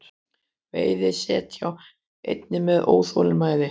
Veiði set hjá einni með óþolinmæði